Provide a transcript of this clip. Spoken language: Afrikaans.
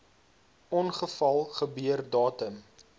ongeval gebeur datum